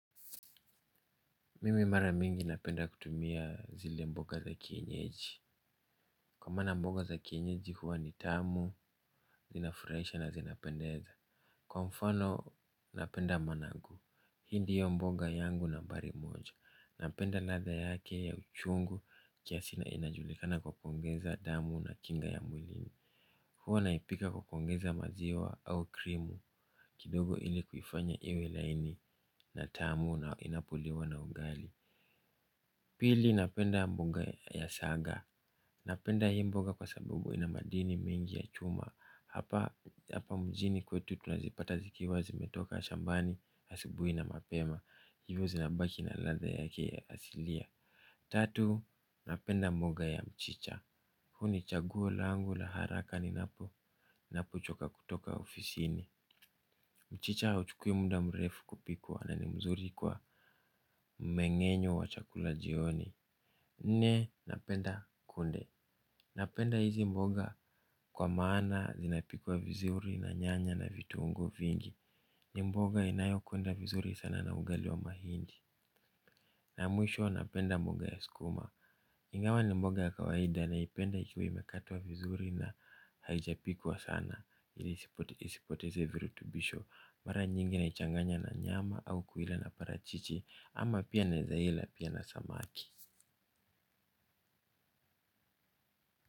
Mimi mara mingi napenda kutumia zile mboga za kienyeji. Kwa maana mboga za kienyeji huwa ni tamu, zinafuraisha na zinapendeza. Kwa mfano napenda managu. Hii ndiyo mboga yangu nambari moja. Napenda ladha yake ya uchungu kiasi na inajulikana kwa kongeza damu na kinga ya mwilini. Huwa naipika kwa kongeza maziwa au krimu kidogo ili kufanya iwe laini na tamu na inapoliwa na ugali. Pili napenda mboga ya saga. Napenda hii mboga kwa sababu ina madini mingi ya chuma. Hapa mjini kwetu tunazipata zikiwa zimetoka shambani asubui na mapema. Hivo zinabaki na latha yake asilia. Tatu, napenda mboga ya mchicha. Huu chaguo langu la haraka ni napo napo choka kutoka ofisini. Mchicha huchukui muda mrefu kupikwa. Na ni mzuri kwa mmengenyo wa chakula jioni. Nne, napenda kunde. Napenda hizi mboga kwa maana zinapikuwa vizuri na nyanya na vitungu vingi. Ni mboga inayo kwenda vizuri sana na ugali wa mahindi. Na ya mwisho napenda mboga ya sukuma. Ingawa ni mboga kawaida naipenda ikiwa imekatwa vizuri na haijapikwa sana ili isipoteze virutubisho mara nyingi na ichanganya na nyama au kuila na parachichi ama pia naeza hila pia na samaki.